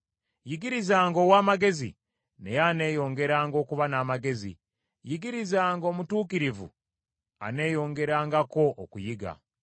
Yigirizanga ow’amagezi naye aneeyongeranga okuba n’amagezi, yigirizanga omutuukirivu, aneeyongerangako okuyiga.